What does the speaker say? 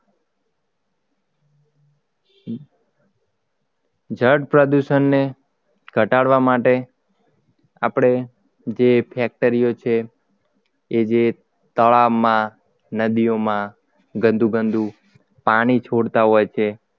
જળ પ્રદૂષણને ઘટાડવા માટે આપણે જે factory ઓ છે એ જે તળાવમાં નદીમાં ગંદુ ગંદુ પાણી છોડતા હોય છે